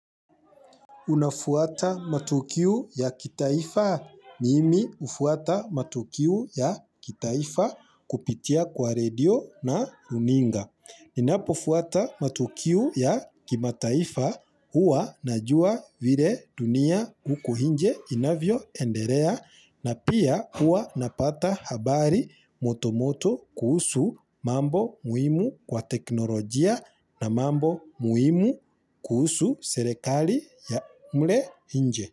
Unafuata matukiu ya kitaifa. Mimi ufuata matukiu ya kitaifa kupitia kwa radio na runinga. Ninapofuata matukiu ya kimataifa hua najua vile dunia huku hinje inavyoenderea na pia hua napata habari motomoto kuhusu mambo muhimu kwa teknolojia na mambo muhimu kuhusu serekali ya mle hinje.